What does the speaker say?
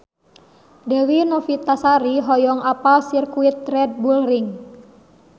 Dewi Novitasari hoyong apal Sirkuit Red Bull Ring